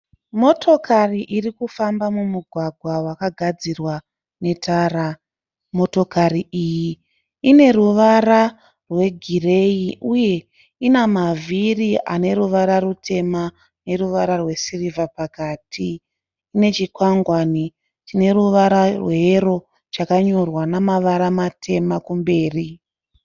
Motokari iri kufamba mumugwagwa wakagadzirwa netara. Motikari iyi ine ruvara rwegireyi uye ina mavhiri ane ruvara rutema neruvara rwesirivha pakati. Ine chikwangwani chine ruvara rweyero chakanyorwa namavara matema kumberi.